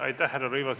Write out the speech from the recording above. Aitäh, härra Rõivas!